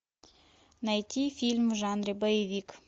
найти фильм в жанре боевик